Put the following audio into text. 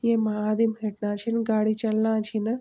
यैमा आदिम हिटना छिन गाड़ी चलना छिन।